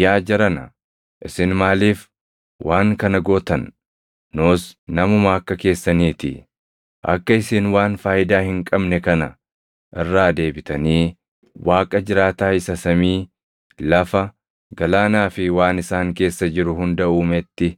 “Yaa jarana, isin maaliif waan kana gootan? Nus namuma akka keessanii ti. Akka isin waan faayidaa hin qabne kana irraa deebitanii Waaqa jiraataa isa samii, lafa, galaanaa fi waan isaan keessa jiru hunda uumetti